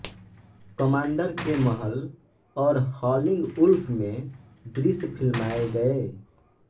commander के महल और हॉलिंग वुल्फ में दृश्य फिल्माए गए